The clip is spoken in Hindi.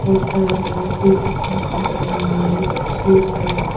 सारा नाव भी देखने को मिल रहा है इस तस्वीर पर।